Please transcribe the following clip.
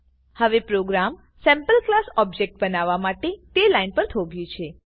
હવે program sample class object બનાવવા માટે તે લાઈન પર થોભ્યું છે